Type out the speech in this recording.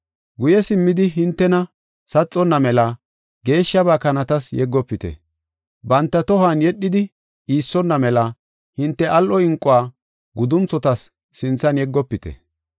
“Guye simmidi hintena saxona mela geeshshaba kanatas yeggofite. Banta tohuwan yedhidi iissonna mela hinte al7o inquwa gudunthota sinthan yeggofite.